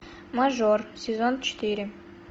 мажор сезон четыре